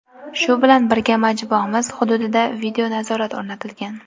Shu bilan birga majmuamiz hududida video-nazorat o‘rnatilgan.